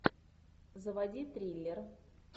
заводи триллер